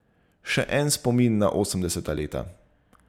Še en spomin na osemdeseta leta.